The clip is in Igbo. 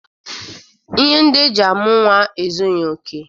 Ihe ndi eji amu nwa ezughị oke.